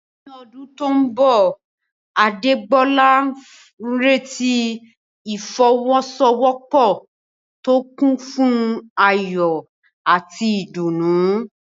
Ní ọdún tó mbọ̀, Adégbolá ń retí ìfọwọ́sowọ́pọ̀ tó kún fún ayọ̀ àti ìdùnnú